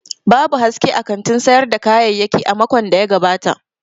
Babu haske a kantin sayar da kayayyaki a makon da ya gabata.